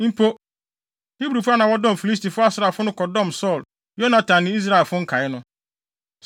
Mpo, Hebrifo a na wɔdɔm Filistifo asraafo no kɔdɔm Saulo, Yonatan ne Israelfo nkae no.